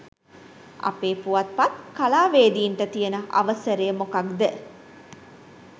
අපේ පුවත්පත් කලාවේදීන්ට තියන අවසරය මොකක්ද